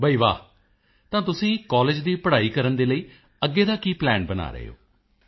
ਬਈ ਵਾਹ ਤਾਂ ਤੁਸੀਂ ਕਾਲਜ ਦੀ ਪੜ੍ਹਾਈ ਕਰਨ ਦੇ ਲਈ ਅੱਗੇ ਦਾ ਕੀ ਪਲਾਨ ਬਣਾ ਰਹੇ ਹੋ